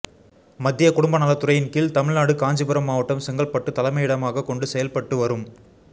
மத்திய குடும்ப நலத்துறையின் கீழ் தமிழ்நாடு காஞ்சிபுரம் மாவட்டம் செங்கல்பட்டு தலைமையிடமாகக் கொண்டு செயல்பட்டு வரும்